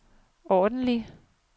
ordentlig